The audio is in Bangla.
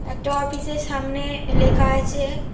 একটা অফিসের সামনে লেখা আছে--